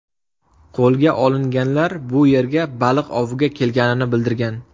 Qo‘lga olinganlar bu yerga baliq oviga kelganini bildirgan.